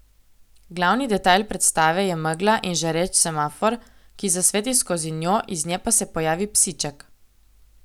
Glavni detajl predstave je megla in žareč semafor, ki zasveti skozi njo, iz nje pa se pojavi psiček.